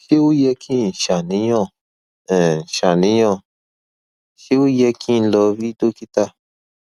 ṣé ó yẹ kí n ṣàníyàn um ṣàníyàn ṣé ó yẹ kí n lọ rí dókítà